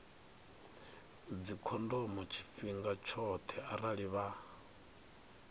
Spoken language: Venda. dzikhondomo tshifhinga tshoṱhe arali vha